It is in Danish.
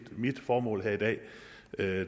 mit formål her i dag